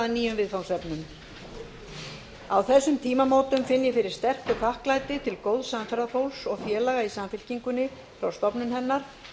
nýjum viðfangsefnum á þessum tímamótum finn ég fyrir sterku þakklæti til góðs samferðafólks og félaga í samfylkingunni frá stofnun hennar